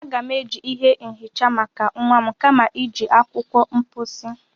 Aga m-eji ihe nhicha maka nwa m kama iji akwụkwọ mposi.